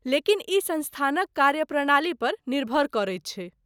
लेकिन ई संस्थानक कार्यप्रणाली पर निर्भर करैत छै।